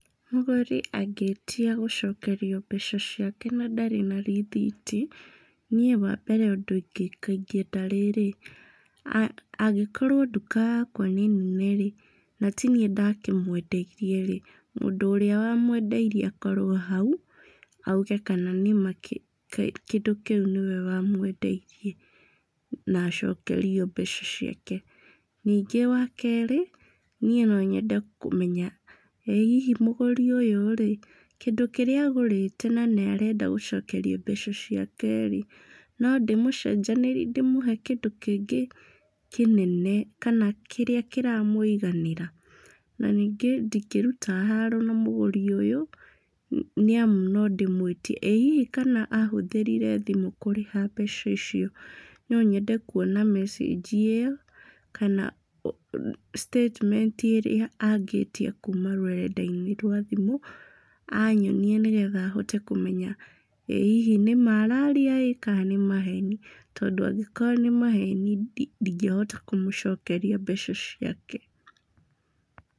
Mũgũri angĩĩtia gũcokerio mbeca ciake na ndarĩ na rĩthiti, niĩ wa mbere ũndũ ingĩka ingĩenda rĩrĩ, angĩkorwo nduka yakwa nĩ nene-rĩ, na tiniĩ ndakĩmwendirie-rĩ, mũndũ ũrĩa wamwendeirie akorwo hau, auge kana nĩma kĩndũ kĩu nĩwe wamwendeirie na acokerio mbeca ciake. Ningĩ wa kerĩ, niĩ no nyende kũmenya, ĩ hihi mũgũri ũyũ-rĩ, kĩndũ kĩrĩa agũrĩte na nĩarenda gũcokerio mbeca ciake-rĩ, no ndĩmũcenjanĩrie ndĩmũhe kĩndũ kĩngĩ kĩnene kana kĩrĩa kĩramũiganĩra. Na ningĩ ndingĩruta haro na mũgũri ũyũ, nĩamu no ndĩmwĩtie, ĩ hihi kana ahũthĩrire thimũ kũrĩha mbeca icio, no nyende kuona mecĩnji ĩyo kana statement ĩrĩa angĩtia kuma rũrenda-inĩ rwa thimũ, anyonie nĩgetha hote kũmenya ĩ hihi nĩma araria-ĩ kana nĩ maheni, tondũ angĩkorwo nĩ maheni ndingĩhota kũmũcokeria mbeca ciake.